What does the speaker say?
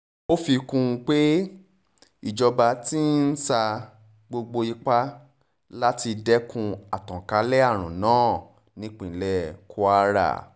ó fi kún un pé ìjọba ti ń sa gbogbo ipá láti dẹ́kun àtànkálẹ̀ àrùn náà nípínlẹ̀ kwara